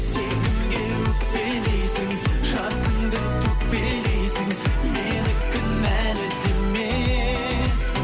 сен кімге өкпелейсің жасыңды төкпелейсің мені кінәлі деме